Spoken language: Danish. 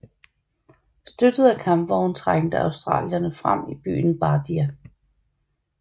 Støttet af kampvogne trængte australierne frem mod byen Bardia